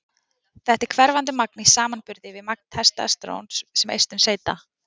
þetta er hverfandi magn í samanburði við magn testósteróns sem eistun seyta